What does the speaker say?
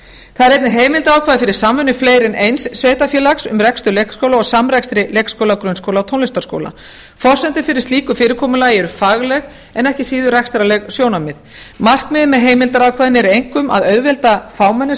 það er einnig heimildarákvæði fyrir samvinnu fleiri en eins sveitarfélags um rekstur leikskóla og samrekstri leikskóla grunnskóla og tónlistarskóla forsendur fyrir slíku fyrirkomulagi eru fagleg en ekki síður rekstrarleg sjónarmið markmiðið með heimildarákvæðinu er einkum að auðvelda fámennum